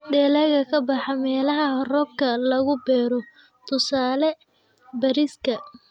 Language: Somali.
Dalagga ka baxa meelaha roobka lagu beero: tusaale, bariiska.